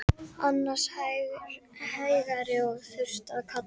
Annars hægari og þurrt að kalla